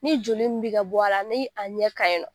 Ni joli min bɛ ka bɔ a la ni a ɲɛ ka ɲi nɔ.